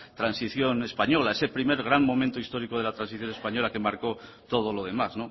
transición española ese primer gran momento de la transición española que marcó todo lo demás